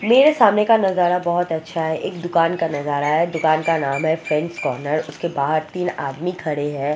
मेरे सामने का नजारा बहुत अच्छा है एक दुकान का नजारा है दुकान का नाम है फ्रैंड्स कॉर्नर उसके बाहर तीन आदमी खड़े है।